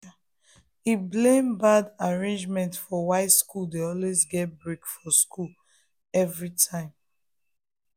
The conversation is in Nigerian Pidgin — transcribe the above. e blame bad agreements for why school dey always get break for school everytime.